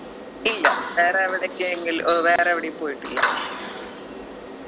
ഇല്ല വേറെ എവിടെക്കെങ്കിൽ ഏർ വേറെ എവിടേയും പോയിട്ടില്ല